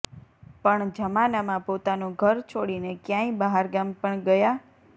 પણ જમના મા પોતાનું ઘર છોડીને ક્યાય બહારગામ પણ ગયા